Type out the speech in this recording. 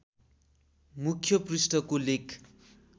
मुख्य पृष्ठको लेख